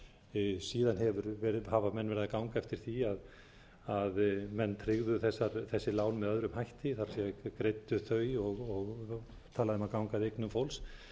menn verið að ganga eftir því að menn tryggðu þessi lán með öðrum hætti það er greiddu þau og talað um að ganga að eignum fólks